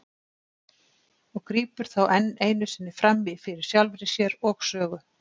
og grípur þá enn einu sinni fram í fyrir sjálfri sér og sögu.